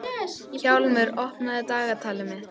Hjálmur, opnaðu dagatalið mitt.